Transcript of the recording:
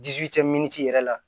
miniti yɛrɛ la